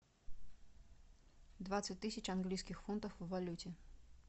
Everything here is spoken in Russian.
двадцать тысяч английских фунтов в валюте